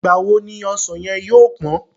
Ìgbà wo ni ọsàn yẹn yóò pán?